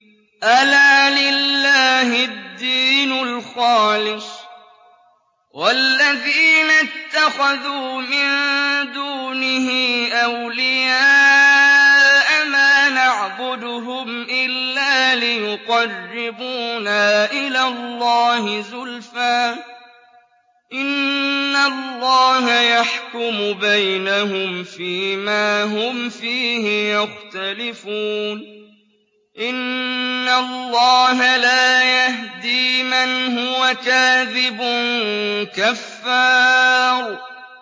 أَلَا لِلَّهِ الدِّينُ الْخَالِصُ ۚ وَالَّذِينَ اتَّخَذُوا مِن دُونِهِ أَوْلِيَاءَ مَا نَعْبُدُهُمْ إِلَّا لِيُقَرِّبُونَا إِلَى اللَّهِ زُلْفَىٰ إِنَّ اللَّهَ يَحْكُمُ بَيْنَهُمْ فِي مَا هُمْ فِيهِ يَخْتَلِفُونَ ۗ إِنَّ اللَّهَ لَا يَهْدِي مَنْ هُوَ كَاذِبٌ كَفَّارٌ